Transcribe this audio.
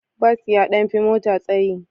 Bas ya ɗan fi mota tsayi.